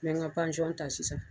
N bɛ n ka ta sisan